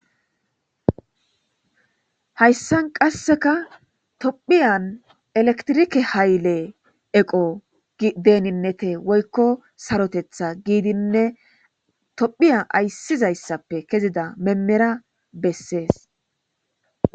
Hayisan qaseka topheya eletirike hayile eqo deninete woyiko sarotethas gidine topheya ayisizaysape keziza memereya beses